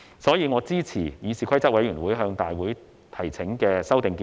所以，我支持議事規則委員會向大會提請的修訂建議。